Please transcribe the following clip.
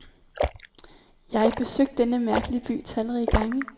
Jeg besøgt denne mærkelige by talrige gange.